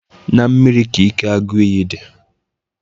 Na mmiri ka ike agụ iyi dị.